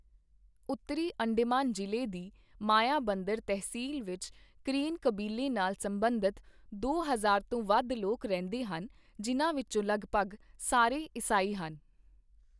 ਉੱਤਰੀ ਅੰਡੇਮਾਨ ਜ਼ਿਲ੍ਹੇ ਦੀ ਮਾਯਾਬੰਦਰ ਤਹਿਸੀਲ ਵਿੱਚ ਕਰੇਨ ਕਬੀਲੇ ਨਾਲ ਸਬੰਧਤ ਦੋ ਹਜ਼ਾਰ ਤੋਂ ਵੱਧ ਲੋਕ ਰਹਿੰਦੇ ਹਨ, ਜਿਨ੍ਹਾਂ ਵਿੱਚੋਂ ਲਗਭਗ ਸਾਰੇ ਈਸਾਈ ਹਨ।